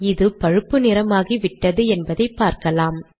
இது பழுப்பு நிறமாகிவிட்டது என்பதை பார்க்கலாம்